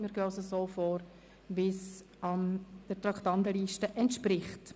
Wir gehen damit so vor, wie es der Traktandenliste entspricht.